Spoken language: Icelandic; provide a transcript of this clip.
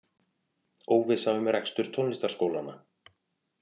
Óvissa um rekstur tónlistarskólanna